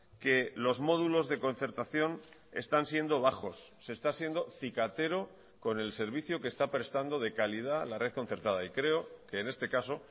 que los módulos de concertación están siendo bajos se esta siendo cicatero con el servicio que esta prestando de calidad la red concertada y creo que en este caso